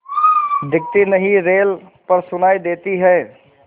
दिखती नहीं रेल पर सुनाई देती है